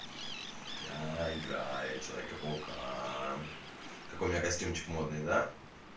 я играю человека-паука какой у меня костюмчик модный да